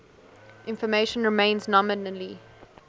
information remains nominally